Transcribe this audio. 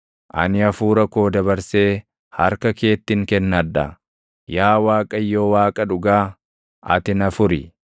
Ani hafuura koo dabarsee harka keettin kennadha; yaa Waaqayyo Waaqa dhugaa, ati na furi.